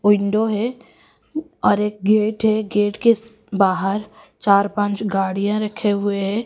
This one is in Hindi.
विंडो है और एक गेट है गेट के स बाहर चार पाँच गाड़ियां रखे हुए है।